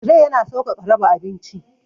Tire yana sauƙaƙa raba abinci.